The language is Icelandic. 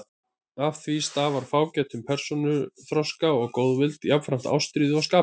Af því stafar fágætum persónuþroska og góðvild, jafnframt ástríðu og skaphita.